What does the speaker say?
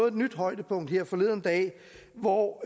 et nyt højdepunkt her forleden dag hvor